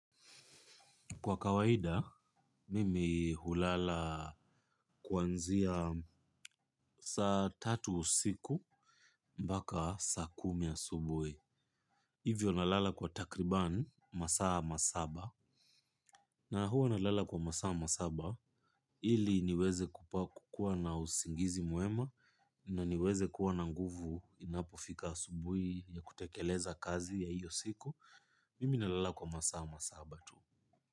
Kwa kawaida, mimi hulala kwanzia saa tatu usiku, mpaka saa kumi a subuhi. Hivyo na lala kwa takribani, masaa masaba. Na huwa na lala kwa masaa masaba, ili niweze kupaku kuwa na usingizi mwema, na niweze kuwa na nguvu inapofika asubuhi ya kutekeleza kazi ya hiyo siku. Mimi na lala kwa masaa masaba tu.